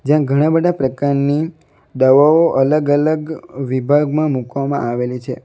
ત્યાં ઘણા બધા પ્રકારની દવાઓ અલગ અલગ વિભાગમાં મૂકવામાં આવેલી છે.